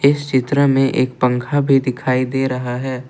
इस चित्र में एक पंखा भी दिखाई दे रहा है।